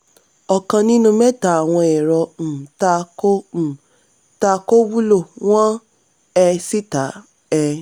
ọ̀kan nínú mẹ́ta àwọn ẹ̀rọ um tà kò um tà kò wúlò wọ́n um sì tà á. um